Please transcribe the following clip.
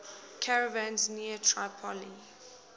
caravans near tripoli